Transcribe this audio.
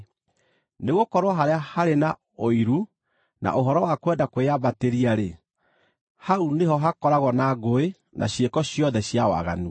Nĩgũkorwo harĩa harĩ na ũiru na ũhoro wa kwenda kwĩyambatĩria-rĩ, hau nĩho hakoragwo na ngũĩ na ciĩko ciothe cia waganu.